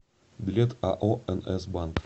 билет ао нс банк